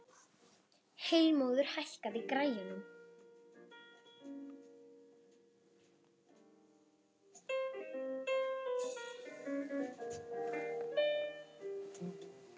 Heilmóður, hækkaðu í græjunum.